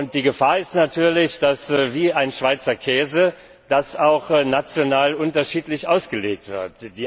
Die Gefahr ist natürlich, dass das wie ein Schweizer Käse auch national unterschiedlich ausgelegt wird.